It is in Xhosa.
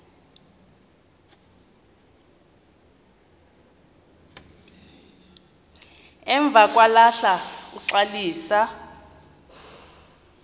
emva kwahlala uxalisa